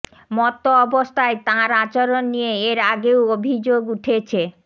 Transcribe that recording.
মত্ত অবস্থায় তাঁর আচরণ নিয়ে এর আগেও অভিযোগ উঠেছে